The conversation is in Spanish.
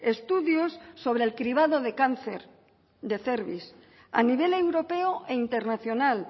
estudios sobre el cribado de cáncer de cérvix a nivel europeo e internacional